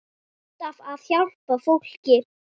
Alltaf að hjálpa fólki.